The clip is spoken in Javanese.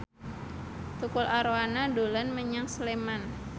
Tukul Arwana dolan menyang Sleman